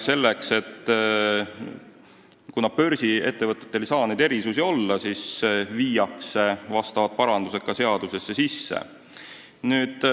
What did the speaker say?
Kuna börsiettevõtetel ei tohi neid erisusi olla, siis tehakse seaduses sellekohased parandused.